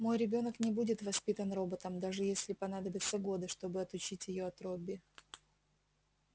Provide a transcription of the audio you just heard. мой ребёнок не будет воспитан роботом даже если понадобятся годы чтобы отучить её от робби